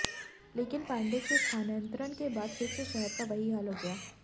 लेकिन पांडेय के स्थानांतरण के बाद फिर से शहर का वही हाल हो गया